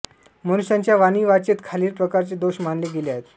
मनुष्याच्या वाणीवाचेत खालील प्रकारचे दोष मानले गेले आहेत